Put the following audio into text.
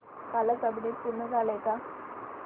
कालचं अपडेट पूर्ण झालंय का